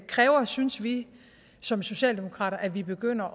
kræver synes vi som socialdemokrater at vi begynder